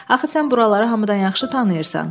Axı sən buraları hamıdan yaxşı tanıyırsan.